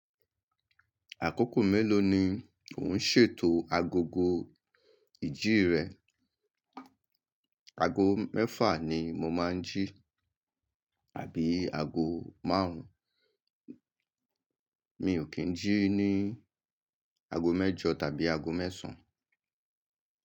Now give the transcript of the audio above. Àkókò mélòó ni ò ń ṣètò agogo ìjí rẹ? Ago mẹ́fà ni mo máa ń jí àbí ago márùn-ún, mi ò kí ń jí ní ago mẹ́jọ tàbí ago mẹ́sàn-án.